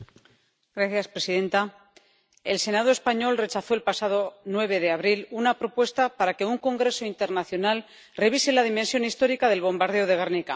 Señora presidenta. El Senado español rechazó el pasado 9 de abril una propuesta para que un congreso internacional revise la dimensión histórica del bombardeo de Gernika.